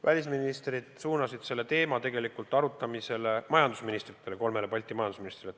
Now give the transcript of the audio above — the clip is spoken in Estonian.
Välisministrid suunasid selle teema majandusministritele – kolmele Balti majandusministrile.